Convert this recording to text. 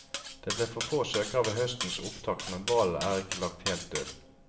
Det ble for få søkere ved høstens opptak, men ballen er ikke lagt helt død.